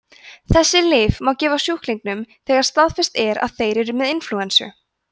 þessi lyf má gefa sjúklingum þegar staðfest er að þeir eru með inflúensu